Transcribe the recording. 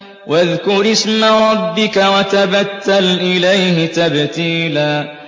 وَاذْكُرِ اسْمَ رَبِّكَ وَتَبَتَّلْ إِلَيْهِ تَبْتِيلًا